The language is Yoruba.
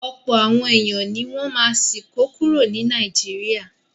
Ọ̀pọ̀ àwọn èèyàn ní wọ́n ma sì kó kúrò ní Naijiria